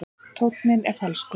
Tónninn er falskur.